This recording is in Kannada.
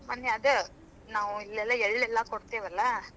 ಮನ್ನೆ ಅದ, ನಾವು ಇಲ್ಲೆಲ್ಲಾ ಎಳ್ಳೆಲ್ಲಾ ಕೊಡ್ತೀವಲ್ಲಾ.